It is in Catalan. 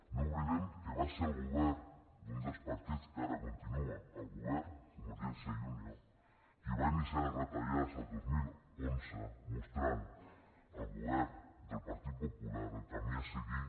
no oblidem que va ser el govern d’un dels partits que ara continua al govern convergència i unió qui va iniciar les retallades el dos mil onze i va mostrar al govern del partit popular el camí a seguir